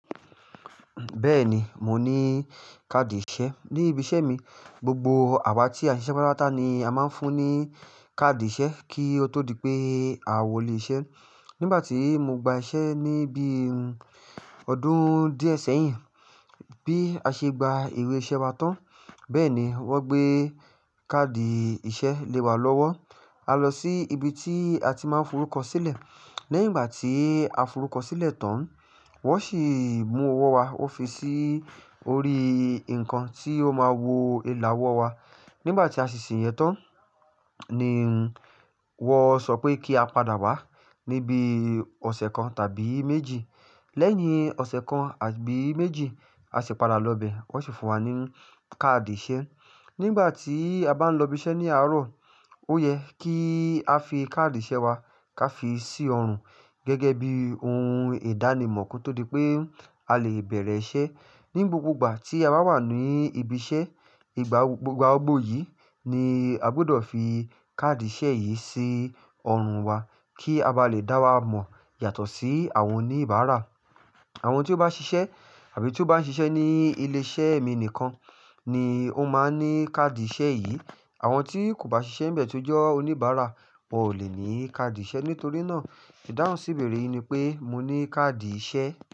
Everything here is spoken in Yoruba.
Bẹ́ẹ̀ni, mo ní káàdì ìṣe ní ibi iṣẹ́ mi. Gbogbo àwa tí a ṣiṣẹ́ pátápátá ni a máa ń fún ní káàdì ìṣe kí ó tó di pé àwọ̀ lè ṣe. Nígbà tí mo gba iṣẹ́ ní bí ọdún díẹ̀ sẹ́yìn, bí a ṣe gba ìwé iṣẹ́ wa tán, bẹ́ẹ̀ ni wọ́n gbé káàdì ìṣe lé wa lọ́wọ́. A lọ sí ibi tí a ti máa ń forúkọ sílẹ̀. Lẹ́yìn ìgbà tí a forúkọ sílẹ̀ tán, wọ́n sì mú owó wa, wọ́n fi sí orí nǹkan tí ó máa wo ìlàwọ̀ wa. Nígbà tí a ṣèṣè yẹn tán, ni wọ́n sọ pé kí a padà wá níbí ọ̀sẹ̀ kan tàbí méjì. Lẹ́yìn ọ̀sẹ̀ kan àbí méjì, a sì padà lọ bẹ̀, wọ́n sì fún wa ní káàdì ìṣe. Nígbà tí a bá ń lọ ibi iṣẹ́ ní àárọ̀, ó yẹ kí a fi káàdì ìṣe wa ká fi sí ọrùn gẹ́gẹ́ bí ohun ìdánimọ̀ kí ó tó di pé a lè bẹ̀rẹ̀ iṣẹ́. Ni gbogbo ìgbà tí a bá wà ní ibi iṣẹ́, ìgbà gbogbo yìí ni a gbọdọ̀ fi káàdì ìṣe yìí sí ọrùn wa kí a bá lè dá wa mọ̀ yàtọ̀ sí àwọn oníbàárà. Àwọn tí ó bá ṣiṣẹ́ àbí tó bá ń ṣiṣẹ́ ní ilé iṣẹ́ mi nìkan ni ó máa n ní káàdì ìṣe yìí. Àwọn tí kò bá ṣiṣẹ́ bẹ̀ tó jọ́ oníbàárà, wọn ò lè ní káàdì ìṣe. Nítorí náà, ìdáhùn síbẹ̀rẹ yìí ni pé mo ní káàdì ìṣe.